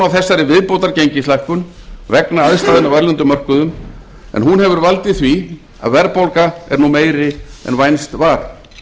þessari viðbótargengislækkun vegna aðstæðna á erlendum mörkuðum en hún hefur valdið því að verðbólga er nú meiri en vænst var